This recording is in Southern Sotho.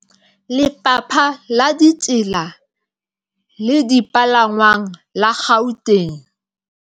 Lefapha la Ditsela le Dipalangwang la Gauteng